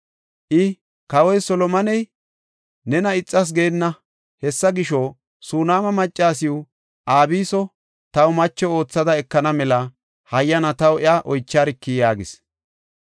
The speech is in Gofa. I, “Kawoy Solomoney nena ixas geenna; hessa gisho, Sunaama maccasiw Abiso taw macho oothada ekana mela hayyana taw iya oycharki” yaagis.